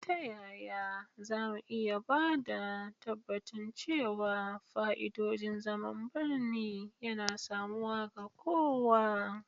Ta yaya za mu iya ba da tabbacin cewa fa'idodin zaman birni yana samuwa ga kowa?